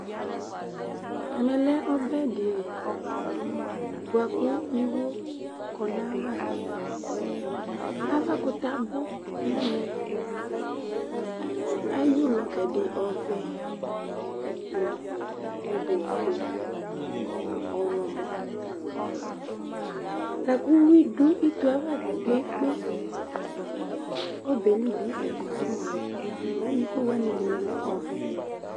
Ɛmɛ lɛ ɔbɛ dɩ li bʋakʋ iwo kɔ nayavaAvakʋtɛ abʋ nɛmɛ, eyǝ ʋlɔ gɛdɛ : ɔvɛ nʋ ofue nʋ ɔɣlɔmɔLakʋ uwi dʋ ito ava kpekpekpe, ɔbɛli bɩ ɛyakɔsʋ mʋa, mɛ iko wanɩ ɛdɩnɩ lɛ ɔvɛ